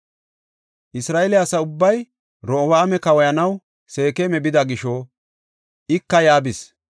Isra7eele asa ubbay Orobi7aama kawoyanaw Seekema bida gisho ika yaa bis.